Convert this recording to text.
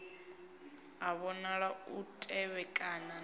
a vhonala u tevhekana na